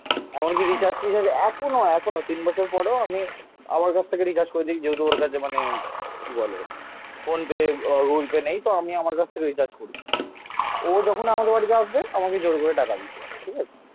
এমনকি রিচার্জ এখনো নয় এখনো. তিন বছর পরেও আমি আমার কাছ থেকে রিচার্জ করে দিক. যেহেতু ওর কাছে মানে কি বলে. ফোনপে আহ গুগুল পে নেই. তো আমি আমার কাছ থেকে রিচার্জ করি ও যখন আমাদের বাড়িতে আসবে, আমাকে জোর করে টাকা দিতে যাবে. ঠিক আছে?